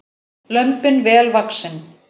Lömbin vel vaxin